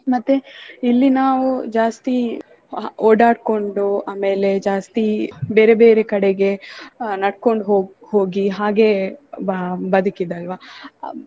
ಮತ್ತೆ ಇಲ್ಲಿ ನಾವು ಜಾಸ್ತಿ ಆ ಓಡಾಡ್ಕೊಂಡು ಆಮೇಲೆ ಜಾಸ್ತಿ ಬೇರೆ ಬೇರೆ ಕಡೆಗೆ ಆ ನಡ್ಕೊಂಡ್ ಹೋ~ ಹೋಗಿ ಹಾಗೇ ಬಾ~ ಬದಕಿದಲ್ವಾ ಆಹ್